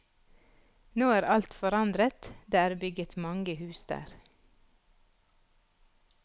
Nå er alt forandret, det er bygget mange hus der.